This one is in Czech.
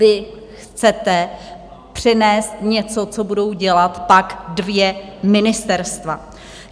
Vy chcete přinést něco, co budou dělat pak dvě ministerstva.